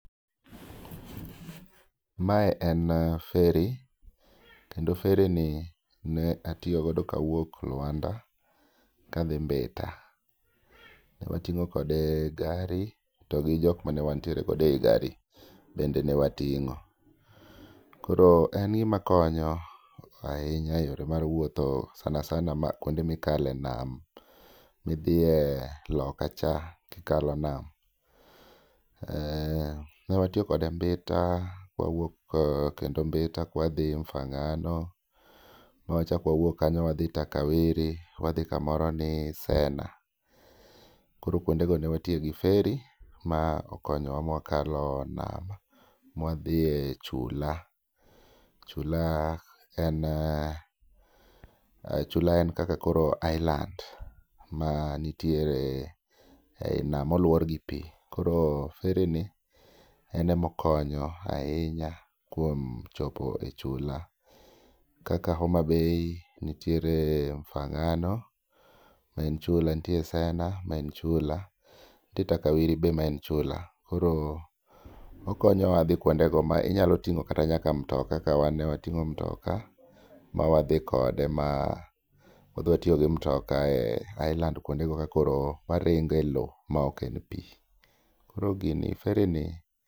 Mae en ferry kendo ferry ni ne atiyo godo kawuok Lwanda ka adhi Mbita. Ne wating'o kode gari to gi jok mane wantiere godo ei gari bende ne wating'o. Koro en gima konyo ahinya e yore mar wuotho sana sana kuonde ma ikale nam. Ma idhiye lokacha ka ikalo nam, ne watiyo kode Mbita, wawuok kendo Mbita kawadhi Mufangano, ma wachako wawuok kanyo kawadhi Takawiri, wadhi kamoro ni Sena. Koro kuondego ne watiyo gi ferry ma okonyowa ma wakalo nam ma wadhi e chula. Chula en kaka koro island moluor gi pi, koro ferry ni en ema okonyo ahinya kuom chopo e chula kaka Homa Bay nitiere Mufang'ano ma en chula, nitie Sena ma en chula, nitie Takawiri be maen chula koro okonya wa dhi kuonde go inyalo kata ting'o kata nyaka mutoka kaka wan ne wating'o mutoka ma wadhi kode ma wadhi watiyo gi mutoka e island kuondego ma waringo elowo maok e pi. Koro fgini, erry ni